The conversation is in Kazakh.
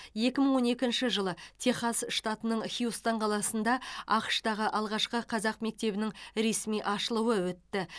екі мың он екінші жылы техас штатының хьюстон қаласында ақш тағы алғашқы қазақ мектебінің ресми ашылуы өтті